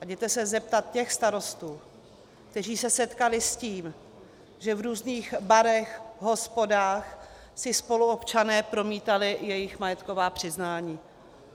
A jděte se zeptat těch starostů, kteří se setkali s tím, že v různých barech, hospodách si spoluobčané promítali jejich majetková přiznání.